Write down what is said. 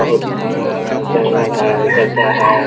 बहुत हरा-हरा जंगल है जंगल है। ।